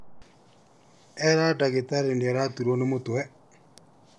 Era dagĩtarĩ nĩaraturwo nĩ mũtwe